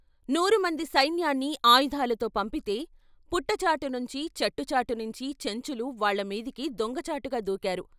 నూరు మంది సైన్యాన్ని ఆయుధాలతో పంపితే, పుట్ట చాటు నుంచీ, చెట్టు చాటు నుంచీ చెంచులు వాళ్ళ మీదికి దొంగ చాటుగా దూకారు.